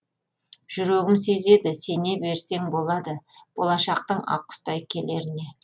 жүрегім сезеді сене берсең болады болашақтың ақ құстай келеріне